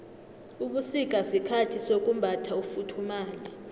ubusika sikhathi sokumbatha ufuthumale